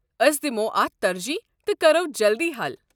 أسۍ دِمو اتھ ترجیٖح تہٕ کرو جلدی حل۔